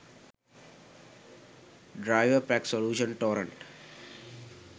driverpack solution torrent